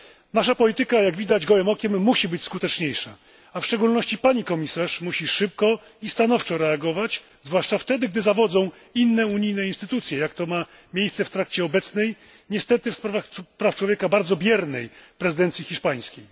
Nasza polityka jak widać gołym okiem musi być skuteczniejsza, a w szczególności pani komisarz musi szybko i stanowczo reagować, zwłaszcza wtedy, gdy zawodzą inne unijne instytucje, jak to ma miejsce w trakcie obecnej niestety w sprawach praw człowieka bardzo biernej prezydencji hiszpańskiej.